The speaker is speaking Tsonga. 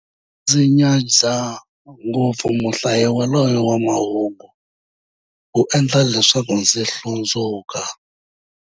Ndzi nyadza ngopfu muhlayi yaloye wa mahungu, u endla leswaku ndzi hlundzuka.